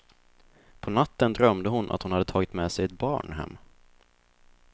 På natten drömde hon att hon hade tagit med sig ett barn hem.